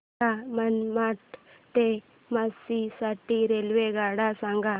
मला मनमाड ते झाशी साठी रेल्वेगाड्या सांगा